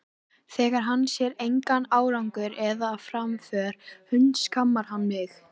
Þegar hann sér engan árangur eða framför hundskammar hann mig.